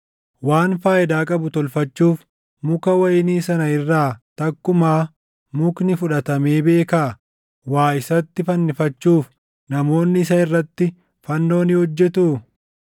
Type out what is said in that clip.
Waan faayidaa qabu tolfachuuf muka wayinii sana irraa takkumaa mukni fudhatamee beekaa? Waa isatti fannifachuuf namoonni isa irratti fannoo ni hojjetuu?